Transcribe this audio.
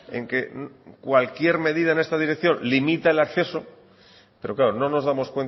en que cualquier medida en esta dirección limita el acceso pero claro no nos damos